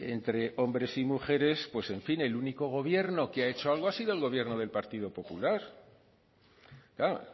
entre hombres y mujeres pues en fin el único gobierno que ha hecho algo ha sido el gobierno del partido popular claro